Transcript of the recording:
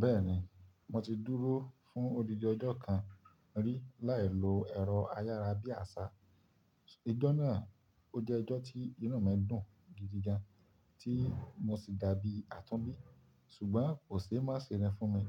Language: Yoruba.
Bẹ́ẹ̀ni, mo ti dúró fún odindin ọjọ́ kan rí láì lo ẹ̀rọ ayára bí àṣá. Ìjọ náà ó jẹ́ Ìjọ tí inú mi dùn gidi gan, tí mo sì dàbí àtúnbí, ṣùgbọ́n kò ṣe má se ni fún mi.